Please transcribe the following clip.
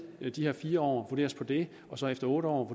de her fire år og vurder os på det og så efter otte år